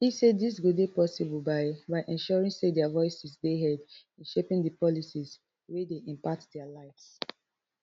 e say dis go dey possible by by ensuring say dia voices dey heard in shaping di policies wey dey impact dia lives